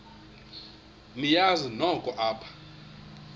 niyazi nonk apha